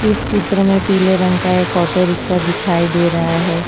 इस चित्र में पीले रंग का एक ऑटो रिक्शा दिखाई दे रहा है।